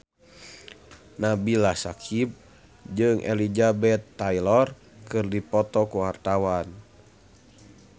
Nabila Syakieb jeung Elizabeth Taylor keur dipoto ku wartawan